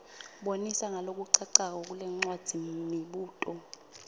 bonisa ngalokucacako kulencwadzimibuto